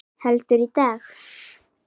Heldur, í dag!